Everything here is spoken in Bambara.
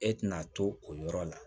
E tɛna to o yɔrɔ la